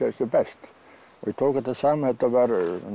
sem best ég tók þetta saman þetta var